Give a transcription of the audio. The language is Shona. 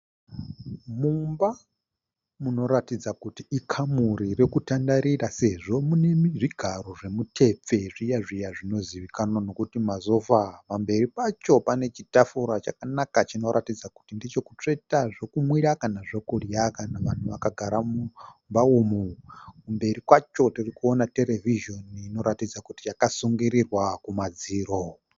Mumba munoratidza kuti ikamuri rokutandarira sezvo mune zvigaro zvomutepfe zviya zviya zvinozivikanwa nokuti masofa. Pamberi pacho pane chitafura chakanaka chinoratidza kuti ndichokutsveta zvokumwira kana zvokudya kana vanhu vakagara mumba umu. Kumberi kwacho tiri kuona terevhizini inoratidza kuti yakasungirirwa kumadziro.